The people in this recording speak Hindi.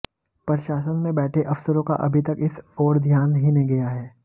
प्रशासन में बैठे अफसरों का अभी तक इस ओर ध्यान ही नहीं गया है